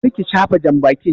Kar ki shafa jambakin!